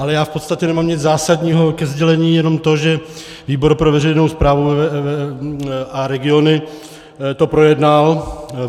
Ale já v podstatě nemám nic zásadního ke sdělení, jenom to, že výbor pro veřejnou správu a regiony to projednal.